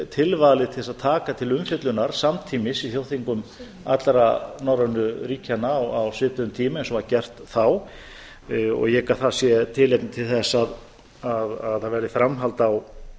tilvalið til þess að taka til umfjöllunar samtímis í þjóðþingum allra norrænu ríkjanna á svipuðum tíma eins og var gert þá og ég hygg að það sé tilefni til þess að það verði framhald á